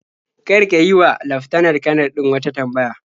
Kar ka yi wa laftanar-kanar din wata tambaya.